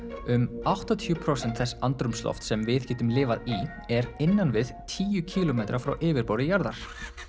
um áttatíu prósent þess andrúmslofts sem við getum lifað í er innan við tíu kílómetra frá yfirborði jarðar